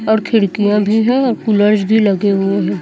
और खिड़कियां भी है और कूलरस भी लगे हुए है।